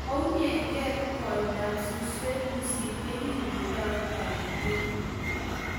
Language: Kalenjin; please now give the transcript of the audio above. Kounyege koindap suswek pusit yekingoloe taritiet.